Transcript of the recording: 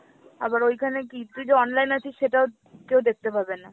আবার ওইখানে কী তুই যে online আছিস সেটাও কেউ দেখতে পাবে না।